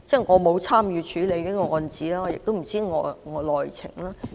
我沒有參與處理這宗個案，不知內情。